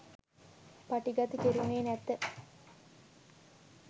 පටිගත කෙරුණේ නැත